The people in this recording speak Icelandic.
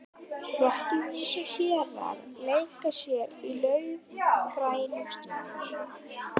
Rottur, mýs og hérar leika sér í laufgrænum snjónum.